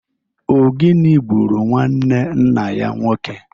O gini gburu nwanne nna ya nwoke?